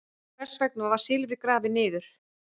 Hvers vegna var silfrið grafið niður?